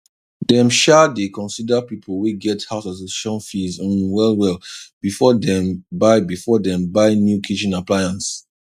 dem sha dey consider people wey get house association fees um well well before dem buy before dem buy new kitchen appliance